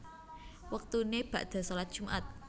Wektune bakda shalat Jumat